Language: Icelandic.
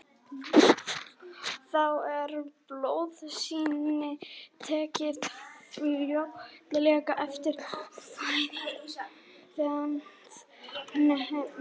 Þá er blóðsýni tekið fljótlega eftir fæðingu það efnagreint.